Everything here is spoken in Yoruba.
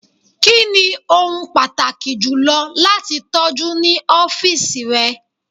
Kini ohun pataki julọ lati tọju ni ọfiisi rẹ?